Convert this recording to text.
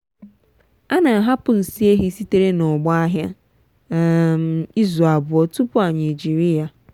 ana ahapụ nsị ehi sitere na ọgbo ahịa um izu abụọ tupu anyị ejiri ya.